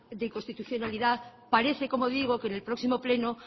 de inconstitucionalidad parece como digo que en el próximo pleno